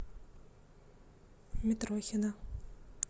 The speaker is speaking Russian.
митрохина